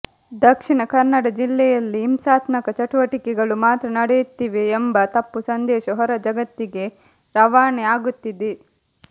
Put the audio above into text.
ದಕ್ಷಿಣ ಕನ್ನಡ ಜಿಲ್ಲೆಯಲ್ಲಿ ಹಿಂಸಾತ್ಮಕ ಚಟುವಟಿಕೆಗಳು ಮಾತ್ರ ನಡೆಯುತ್ತಿವೆ ಎಂಬ ತಪ್ಪು ಸಂದೇಶ ಹೊರ ಜಗತ್ತಿಗೆ ರವಾನೆ ಆಗುತ್ತಿದೆ